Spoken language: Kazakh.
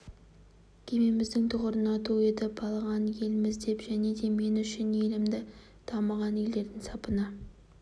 кемеміздің тұғырына ту етіп байлаған елміз деп және де мен үшін елімді дамыған елдердің сапына